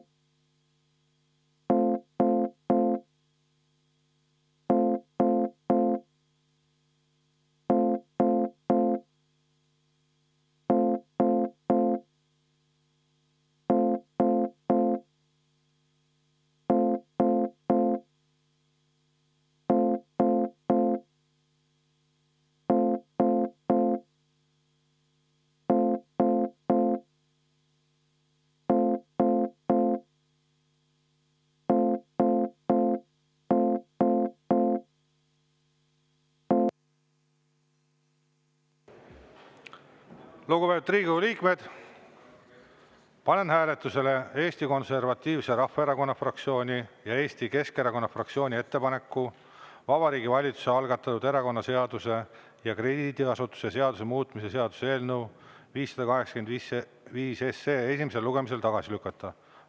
Lugupeetud Riigikogu liikmed, panen hääletusele Eesti Konservatiivse Rahvaerakonna fraktsiooni ja Eesti Keskerakonna fraktsiooni ettepaneku Vabariigi Valitsuse algatatud erakonnaseaduse ja krediidiasutuse seaduse muutmise seaduse eelnõu 585 esimesel lugemisel tagasi lükata.